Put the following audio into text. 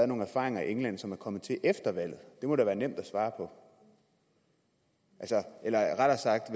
nogle erfaringer i england som er kommet til efter valget det må da være nemt at svare på eller rettere sagt